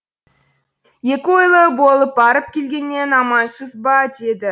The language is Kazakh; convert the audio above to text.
екі ойлы болып барып келгеннен амансыз ба деді